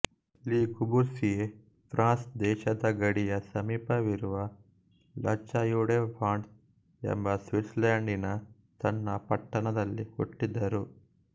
ಲೀ Corbusier France ದೇಶದ ಗಡಿಯ ಸಮೀಪವಿರುವ ಲಾಚಾಯುಡೆಫಾಂಡ್ಸ್ ಎಂಬ ಸ್ವಿತ್ಸರ್ಲೇಂಡಿನ ಸಣ್ಣ ಪಟ್ಟಣದಲ್ಲಿ ಹುಟ್ಟಿದರು